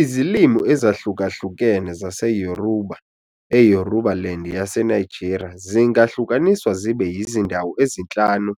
Izilimi ezahlukahlukene zaseYoruba eYorubaland yaseNigeria zingahlukaniswa zibe yizindawo ezinhlanu